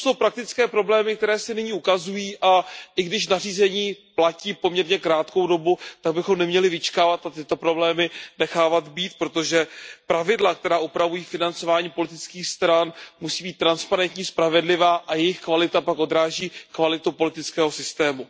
To jsou praktické problémy, které se nyní ukazují, a i když nařízení platí poměrně krátkou dobu, tak bychom neměli vyčkávat a tyto problémy nechávat být, protože pravidla, která upravují financování politických stran, musí být transparentní, spravedlivá a jejich kvalita pak odráží kvalitu politického systému.